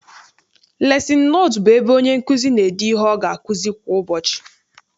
Lesin notu bụ ebe onye nkụzi n'ede ihe ọ ga akuzi kwa ụbọchị.